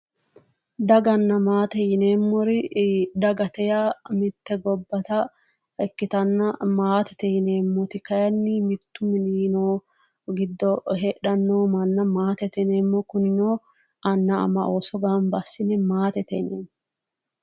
Daganna maate yineemmori, dagate yaa mitte gibbata ikkitanna maatete yineemmoti kaayiinni mittu mini giddo heedhanno manna maatete yineemmo kunino anna ama ooso gamba assine maatete yineemmo.